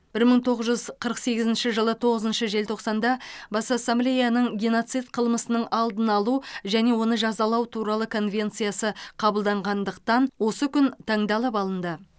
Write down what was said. бір мың тоғыз жүз қырық сегізінші жылы тоғызыншы желтоқсанда бас ассамблеяның геноцид қылмысының алдын алу және оны жазалау туралы конвенциясы қабылданғандықтан осы күн таңдалып алынды